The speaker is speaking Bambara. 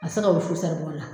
A tɛ se ka wusu saribɔn na.